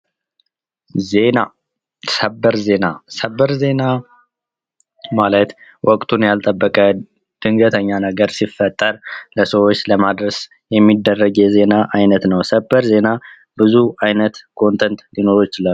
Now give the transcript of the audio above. ዜና ፦ ሰበር ዜና ፦ ሰበር ዜና ማለት ወቅቱን ያልጠበቀ ድንገተኛ ነገር ሲፈጠር ለሰዎች ለማድረስ የሚደረግ የዜና አይነት ነው ። ሰበር ዜና ብዙ ዓይነት ኮንትንት ሊኖረው ይችላል ።